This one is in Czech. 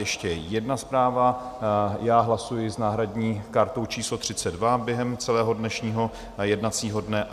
Ještě jedna zpráva: já hlasuji s náhradní kartou číslo 32 během celého dnešního jednacího dne.